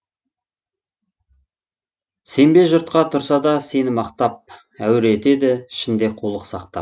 сенбе жұртқа тұрса да сені мақтап әуре етеді ішінде қулық сақтап